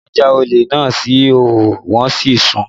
Wọn já olè náà sí ìhòòhò wọn sì sun ún